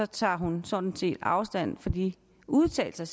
tager hun sådan set afstand fra de udtalelser